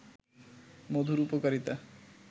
মধুর উপকারিতা